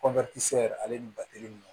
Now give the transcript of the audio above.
yɛrɛ ale ni batele